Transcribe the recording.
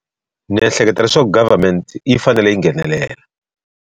Ndzi ehleketa leswaku government yi fanele yi nghenelela.